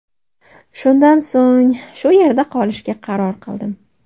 Shundan so‘ng shu yerda qolishga qaror qildim.